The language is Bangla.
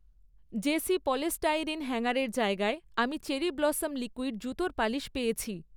জেসি পলিস্টাইরিন হ্যাঙ্গারের জায়গায়, আমি চেরি ব্লসম লিকুইড জুতোর পালিশ পেয়েছি